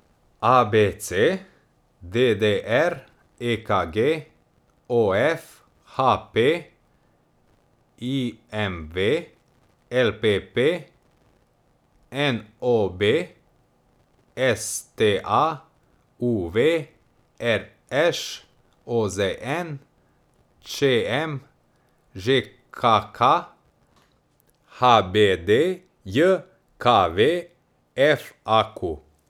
A B C; D D R; E K G; O F; H P; I M V; L P P; N O B; S T A; U V; R Š; O Z N; Č M; Ž K K; H B D J K V; F A Q.